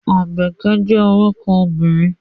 Àbẹ̀kẹ́ jẹ́ orúkọ obìnrin.